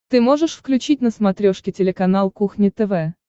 ты можешь включить на смотрешке телеканал кухня тв